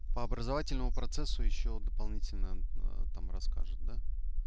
по образовательному процессу ещё дополнительно там расскажет да